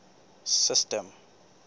system